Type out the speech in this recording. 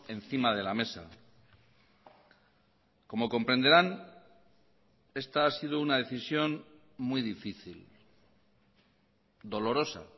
encima de la mesa como comprenderán esta ha sido una decisión muy difícil dolorosa